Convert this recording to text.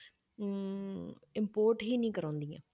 ਅਮ import ਹੀ ਨੀ ਕਰਵਾਉਂਦੀਆਂ।